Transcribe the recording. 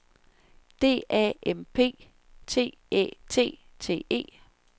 D A M P T Æ T T E